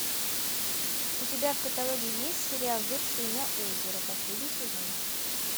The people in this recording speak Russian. у тебя в каталоге есть сериал вершина озера последний сезон